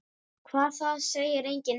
Hvað, það segir enginn neitt.